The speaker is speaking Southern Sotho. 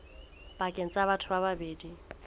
pakeng tsa batho ba babedi